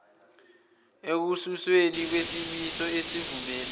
ekususweni kwesimiso esivumela